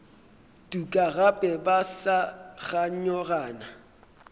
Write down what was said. tuka gape ba sa kganyogana